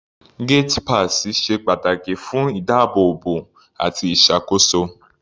Gate pass ṣe pàtàkì fún ìdábóòbò àti ìṣàkóso.